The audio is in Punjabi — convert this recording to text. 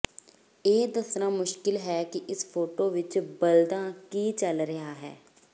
ਇਹ ਦੱਸਣਾ ਮੁਸ਼ਕਿਲ ਹੈ ਕਿ ਇਸ ਫੋਟੋ ਵਿੱਚ ਬਲਦਾਂ ਕੀ ਚੱਲ ਰਿਹਾ ਹੈ